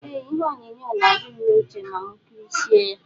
Eeh ihe onyonyo na adim na uche ma mu kirisie ya.